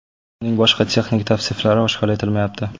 Uning boshqa texnik tavsiflari oshkor etilmayapti.